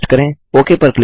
okay पर click करें